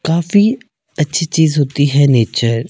काफी अच्छी चीज होती हैं नेचर ।